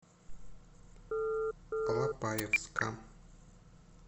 алапаевска